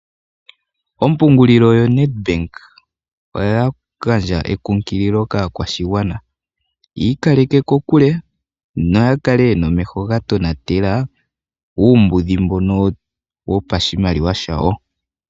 Ompungulilo yoNedBank oya gandja ekunkililo kaakwashigwa yi ikaleke kokule noya kale yena omeho ngono ga tonatela uumbudhi koshimaliwa shawo.